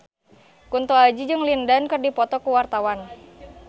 Kunto Aji jeung Lin Dan keur dipoto ku wartawan